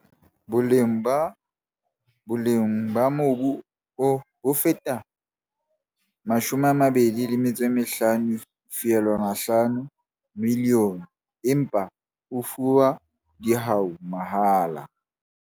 Boleng ba mobu oo bo feta mashome a mabedi le metso e mehlano feelwana milione, empa o fuwe dihwai mahala.